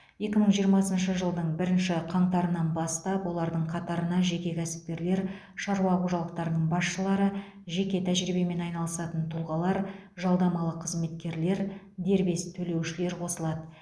екі мың жиырмасыншы жылдың бірінші қаңтарынан бастап олардың қатарына жеке кәсіпкерлер шаруа қожалықтарының басшылары жеке тәжірибемен айналысатын тұлғалар жалдамалы қызметкерлер дербес төлеушілер қосылады